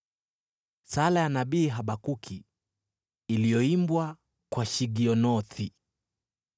Sala ya nabii Habakuki iliyoimbwa kwa shigionothi.